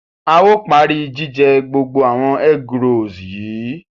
A o pari jijẹ gbogbo awon egg rolls yìí